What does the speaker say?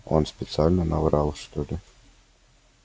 он специально наврал что ли